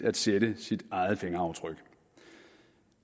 at sætte sit eget fingeraftryk